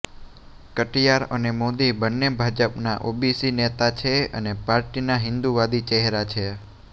કટિયાર અને મોદી બંને ભાજપાના ઓબીસી નેતા છે અને પાર્ટીના હિન્દુવાદી ચેહરા છે